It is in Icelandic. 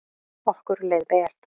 Okkur leið vel.